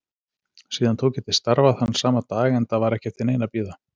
Síðan tók ég til starfa þann sama dag enda var ekki eftir neinu að bíða.